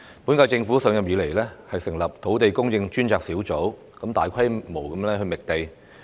本屆政府上任後，成立了土地供應專責小組，大規模覓地。